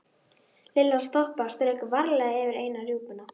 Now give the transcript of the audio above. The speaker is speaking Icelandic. Lilla stoppaði og strauk varlega yfir eina rjúpuna.